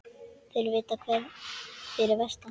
Þeir vita það fyrir vestan